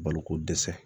Baloko dɛsɛ